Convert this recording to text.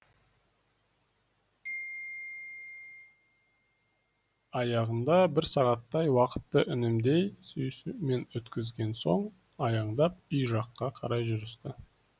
аяғында бір сағаттай уақытты үндемей сүйісумен өткізген соң аяңдап үй жаққа қарай жүрісті